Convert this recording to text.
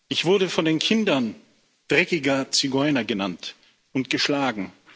Ich wurde von den Kindern dreckiger Zigeuner genannt und geschlagen.